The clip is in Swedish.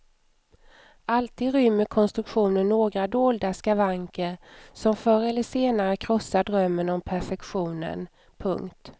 Alltid rymmer konstruktionen några dolda skavanker som förr eller senare krossar drömmen om perfektionen. punkt